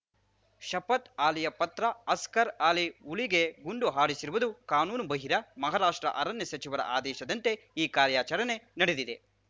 ಶಫತ್‌ ಅಲಿಯ ಪತ್ರ ಅಸ್ಗರ್‌ ಅಲಿ ಹುಲಿಗೆ ಗುಂಡು ಹಾರಿಸಿರುವುದು ಕಾನೂನು ಬಾಹಿರ ಮಹಾರಾಷ್ಟ್ರ ಅರಣ್ಯ ಸಚಿವರ ಆದೇಶದಂತೆ ಈ ಕಾರ್ಯಾಚರಣೆ ನಡೆದಿದೆ